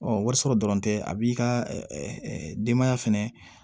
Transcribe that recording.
warisɔrɔ dɔrɔn tɛ a b'i ka denbaya fɛnɛ